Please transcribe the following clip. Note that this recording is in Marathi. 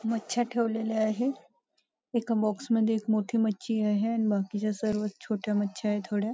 मछ्या ठेवलेले आहे एका बॉक्स मध्ये एक मोठी मच्छी आहे अन बाकीच्या सर्व छोट्या मच्छा आहे थोड्या.